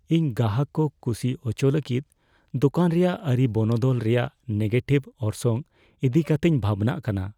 ᱤᱧ ᱜᱟᱦᱟᱠ ᱠᱚ ᱠᱩᱥᱤ ᱟᱪᱚ ᱞᱟᱹᱜᱤᱫ ᱫᱳᱠᱟᱱ ᱨᱮᱭᱟᱜ ᱟᱹᱨᱤ ᱵᱚᱱᱚᱫᱚᱞ ᱨᱮᱭᱟᱜ ᱱᱮᱜᱮᱴᱤᱵᱷ ᱚᱨᱥᱚᱝ ᱤᱫᱤ ᱠᱟᱛᱮᱧ ᱵᱷᱟᱵᱱᱟᱜ ᱠᱟᱱᱟ ᱾